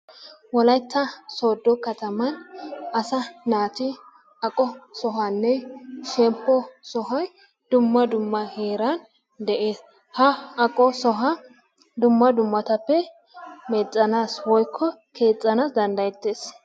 Wolaytta soodo kattaman asaa naati aqqiyo sohuwanne shemppo sohoy dumma dumma heeran de'ees. Ha aqquwa sohoy dumma dummabapee miccanaassi woykko keexxanaassi danddayettees.